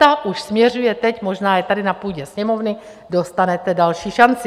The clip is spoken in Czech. Ta už směřuje teď - možná je tady na půdě Sněmovny - dostanete další šanci.